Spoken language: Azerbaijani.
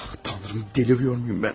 Ah, Tanrım, dəlirmiyorum mən?